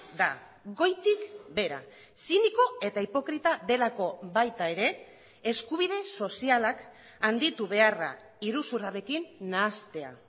da goitik behera ziniko eta hipokrita delako baita ere eskubide sozialak handitu beharra iruzurrarekin nahastea